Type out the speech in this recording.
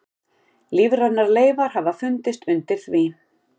Lífrænar leifar hafa fundist undir því.